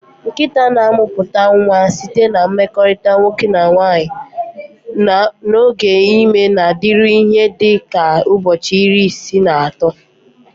Nkịta na-amụpụta nwa site na mmekorita nwoke na nwanyị, na oge ime na-adịru ihe dị ka ụbọchị iri isii na ato.